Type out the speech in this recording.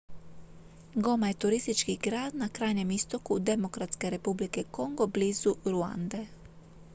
goma je turistički grad na krajnjem istoku demokratske republike kongo blizu ruande